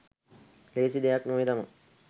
ලේසි දෙයක් නෙවේ තමා.